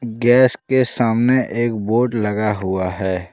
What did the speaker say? Gas के सामने एक बोर्ड लगा हुआ है।